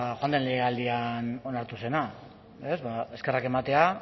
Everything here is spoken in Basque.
joan den legealdian onartu zena eskerrak ematea